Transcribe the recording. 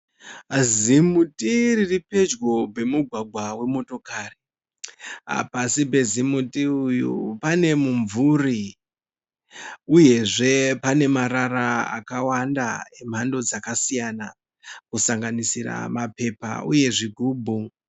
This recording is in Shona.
Zimuti riri pedyo pemugwagwa wemotokari. Pasi pezimuti uyu pane mumvuri uyezve pane marara akawanda emamhando dzakasiyana kusanganisira mapepa uye zvigubhu.